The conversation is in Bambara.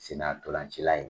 Sena tɔlanci la ye.